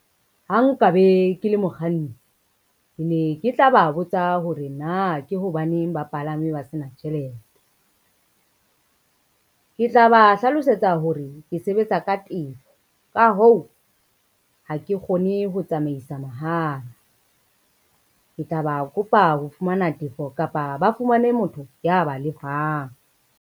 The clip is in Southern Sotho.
Ha nka be ke le mokganni, ke ne ke tla ba botsa hore na ke hobaneng bapalame ba sena tjhelete. Ke tla ba hlalosetsa hore ke sebetse ka tefo, ka hoo, ha ke kgone ho tsamaisa mahala. Ke tla ba kopa ho fumana tefo kapa ba fumane motho ya ba lefang.